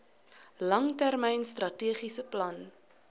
langtermyn strategiese plan